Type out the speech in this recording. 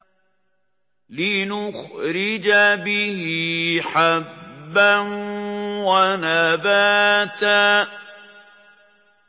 لِّنُخْرِجَ بِهِ حَبًّا وَنَبَاتًا